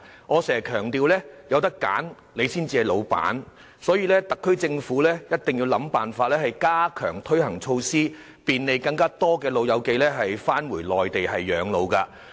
我經常強調"有得揀，你至係老闆"，所以特區政府必須設法加強推行措施，便利更多長者回內地養老。